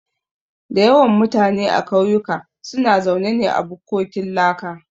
Da yawan mutane a kauyuka suna zaune ne a bukkokin laka